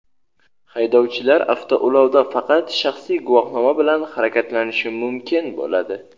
haydovchilar avtoulovda faqat shaxsiy guvohnoma bilan harakatlanishi mukin bo‘ladi.